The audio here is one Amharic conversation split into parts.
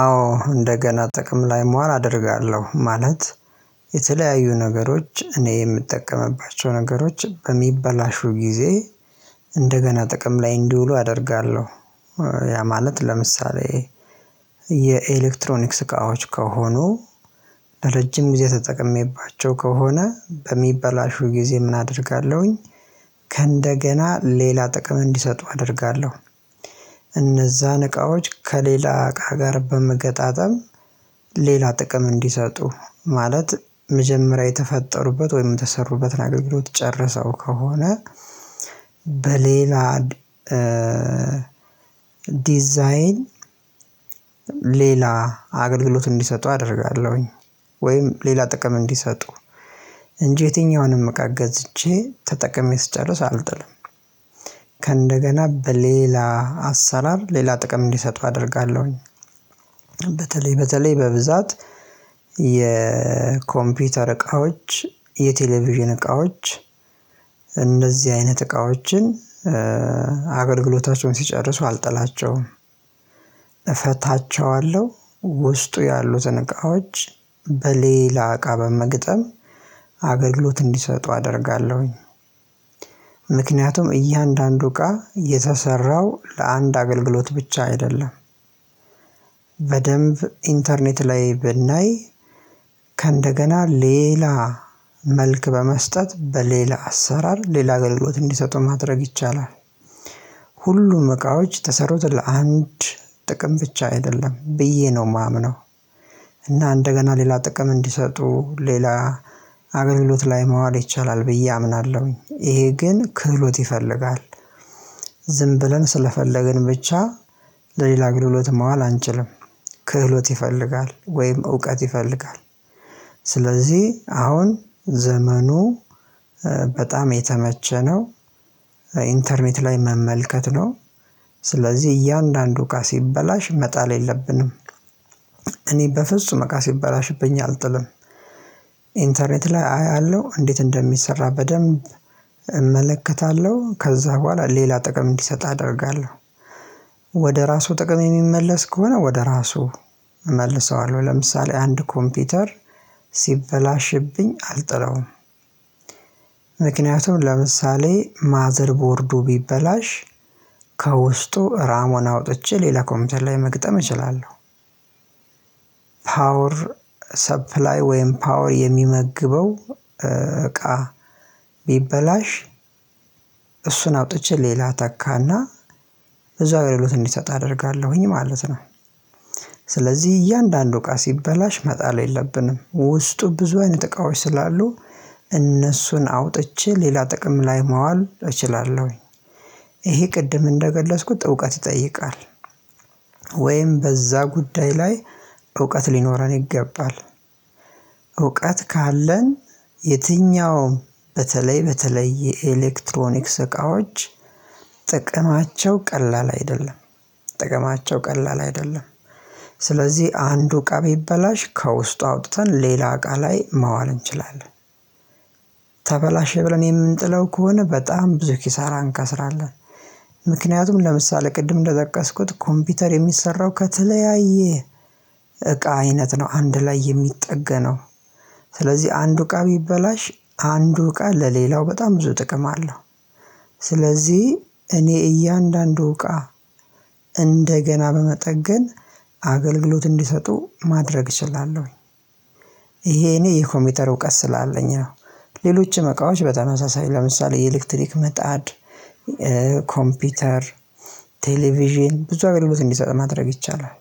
አዎ እንደገና ጥቅም ላይ መዋል አደርጋለሁ ማለት የተለያዩ ነገሮች እኔ የምጠቀምባቸው ነገሮች በሚበላሹ ጊዜ እንደገና ጥቅም ላይ እንዲውሉ አደርጋለሁ። ያ ማለት ለምሳሌ የኤሌክትሮኒክስ እቃዎች ከሆኑ ለረጅም ጊዜ ተጠቅሜባቸው ከሆነ በሚበላሹ ጊዜ ምን አደርጋለሁኝ? ከእንደገና ሌላ ጥቅም እንዲሰጡ አደርጋለሁ። እነዛን እቃዎች ከሌላ እቃ ጋር በመገጣጠም ሌላ ጥቅም እንዲሰጡ ማለት መጀመሪያ የተፈጠሩበት ወይም የተሰሩበትን አገልግሎት ጨረሰው ከሆነ በሌላ ዲዛይን ሌላ አገልግሎት እንዲሰጡ አደርጋለሁኝ። ወይም ሌላ ጥቅም እንዲሰጡ እንጂ የትኛውንም እቃ ገዝቼ ተጠቅሜ ስጨርስ አልጥልም። ከእንደገና በሌላ አሰራር ሌላ ጥቅም እንዲሰጡ አደርጋለሁኝ። በተለይ በተለይ በብዛት የኮምፒውተር እቃዎች የቴሌቪዥን እቃዎች እንደዚህ አይነት እቃዎችን አገልግሎታቸውን ሲጨርሱ አልጠላቸውም። እፈታቸዋለሁ ውስጡ ያሉትን እቃዎች በሌላ እቃ በመግጠም አገግሎት እንዲሰጡ አደርጋለሁኝ። ምክንያቱም እያንዳንዱ እቃ የተሰራው ለአንድ አገልግሎት ብቻ አይደለም። በደንብ ኢንተርኔት ላይ ብናይ ዲዛይን ሌላ አገልግሎት እንዲሰጡ አደርጋለሁኝ ወይም ሌላ ጥቅም እንዲሰጡ እንጂ የትኛውንም እቃ ገዝቼ ተጠቅሜ ስጨርስ አልጥልም። ሁሉም እቃዎች የተሰሩት ለአንድ ጥቅም ብቻ አይደለም ብዬ ነው ማምነው። እና እንደገና ሌላ ጥቅም እንዲሰጡ ሌላ አገልግሎት ላይ መዋል ይቻላል ብዬ አምናለሁኝ እሄ ግን ክህሎት ይፈልጋል። ዝም ብለን ስለፈለግን ብቻ ለሌላ አገልግሎትም ማዋል አንችልም። ክህሎት ይፈልጋል ወይም እውቀት ይፈልጋል። ስለዚህ አሁን ዘመኑ በጣም የተመቸ ነው። ኢንተርኔት ላይ መመልከት ነው ስለዚህ እያንዳንዱ እቃ ሲበላሽ መጣል የለብንም። እኔ በፍጹም እቃ ሲበላሽብኝ አልጥልም። ኢንተርኔት ላይ አያለሁ እንዴት እንደሚሰራ በደንብ እመለከታለሁ ከዛ በኋላ ሌላ ጥቅም እንዲሰጥ አደርጋለሁ። ዝም ብለን ስለፈለግን ብቻ ለሌላ አገልግሎትም ማዋል አንችልም። ምክንያቱም ለምሳሌ ማዘር ቦርዱ ቢበላሽ ከውስጡ ራሙን አውጥቼ ሌላ ኮምፒውተር ላይ መግጠም እችላለሁ። ፓወር ሰፕላይ ወይም ፓወር የሚመግበው እቃ ቢበላሽ እሱን አውጥቼ ሌላ እተካና እዛው አገልግሎት እንዲሰጥ አደርጋለሁኝ ማለት ነው። ስለዚህ እያንዳንዱ እቃ ሲበላሽ መጣል የለብንም ውስጡ ብዙ አይነት እቃዎች ስላሉ እነሱን አውጥቼ ሌላ ጥቅም ላይ ማዋል እችላለሁ። እሄ ቅድም እንደገለጽኩት እውቀት ይጠይቃል። ወይም በዛ ጉዳይ ላይ እውቀት ሊኖረን ይገባል። እውቀት ካለን የትኛውም በተለይ በተለይ የኤሌክትሮኒክስ እቃዎች ጥቅማቸው ቀላል አይደለም። ጥቅማቸው ቀላል አይደለም። ስለዚህ አንዱ እቃ ቢበላሽ ከውስጡ አውጥተን ሌላ እቃ ላይ ማዋል እንችላለን። ተበላሸ ብለን የምንጥለው ከሆነ በጣም ብዙ ኪሳራ አንክስራለን። ምክንያቱም ለምሳሌ ቅድም እንደጠቀስኩት ኮምፒውተር የሚሰራው ከተለያየ እቃ አይነት ነው አንድ ላይ የሚጠገነው ስለዚህ አንዱ እቃ ቢበላሽ አንዱ እቃ ለሌላው በጣም ብዙ ጥቅም አለው። ስለዚህ እኔ እያንዳንዱ እቃ እንደገና በመጠገን አገልግሎት እንዲሰጡ ማድረግ እችላለሁኝ። አሄ እኔ የኮምፒውተር እውቀት ስላለኝ ነው። ሌሎችም እቃዎች በተመሳሳይ ለምሳሌ የኤሌክትሪክ ምጣድ ኮምፒውተር ቴሌቪዥን ብዙ አገልግሎት እንዲሰጥ ማድረግ ይቻላል።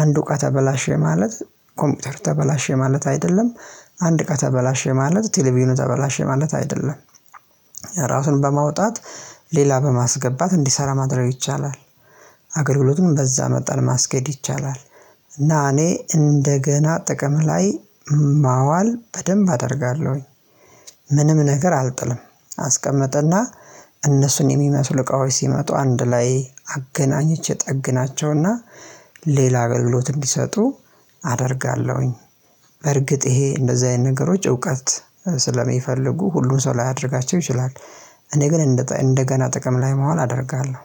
አንዱ እቃ ተበላሸ ማለት ኮምፒውተር ተበላሸ ማለት አይደለም አንድ እቃ ተበላሸ ማለት ቴሌቪዥኑ ተበላሸ ማለት አይደለም። ራሱን በማውጣት ሌላ በማስገባት እንዲሰራ ማድረግ ይቻላል። አግልግሎቱን በዛ መጠን ማስገድ ይቻላል። እና እኔ እንደገና ጥቅም ላይ ማዋል በደንብ አደርጋለሁኝ። ምንም ነገር አልጥልም። አስቀመጠ እና እነሱን የሚመስል እቃዎች ሲመጡ አንድ ላይ አገናኝቼ እጠግናቸውና ሌላ አገልግሎት እንዲሰጡ አደርጋለሁኝ። በርግጥ እሄ እንደዚህ አይነት ነገሮች እውቀት ስለሚፈልጉ ሁሉን ሰው ላያደርጋቸው ይችላል። እኔ ግን እንደገና ጥቅም ላይ ማዋል አደርጋለሁ